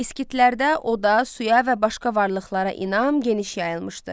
İskitlərdə oda, suya və başqa varlıqlara inam geniş yayılmışdı.